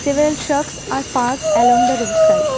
several trucks are parked along the roadside.